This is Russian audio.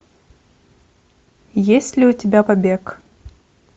есть ли у тебя побег